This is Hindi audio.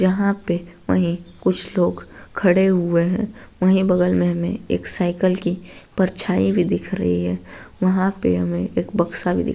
जहाँ पे वही कुछ लोग खड़े हुए है वही बगल में हमे एक साइकिल की परछाई भी दिख रही है वहाँ पे हमें एक बक्सा भी दि --